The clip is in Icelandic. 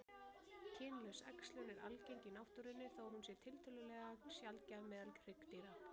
Kynlaus æxlun er algeng í náttúrunni þó hún sé tiltölulega sjaldgæf meðal hryggdýra.